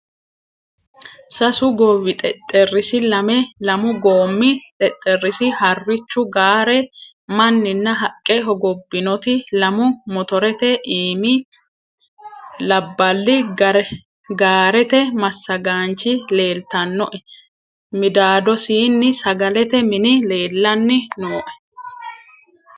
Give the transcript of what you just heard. Sasu gowwi xexxerisi, lamme lamu gommi xexxerisi, harichchu gaare annani haqqe hoggobinoti, lammu motterete iimi labbali, gaarette masagganichi leelitanoe middadosini sagalete minni leelani nooe